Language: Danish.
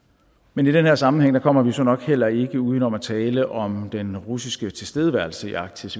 men i den her sammenhæng kommer vi så nok heller ikke uden om at tale om den russiske tilstedeværelse i arktis